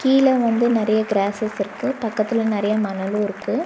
கீழ வந்து நெறைய க்ராஸஸ் இருக்கு பக்கத்துல நெறைய மணலு இருக்கு.